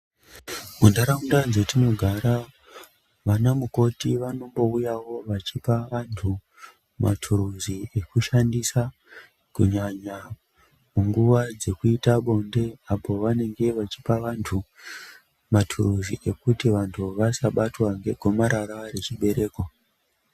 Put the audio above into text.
Mundaraunda dzatinogara ,vana mukoti vanombuyawo veipa vantu maturuzi ekushandisa kunyanya minguva dzekuita bonde. Apo pavanenge vechipa vantu maturuzi ekuti vantu vasabatwa ngegomarara rechibereko .